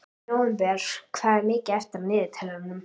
Nóvember, hvað er mikið eftir af niðurteljaranum?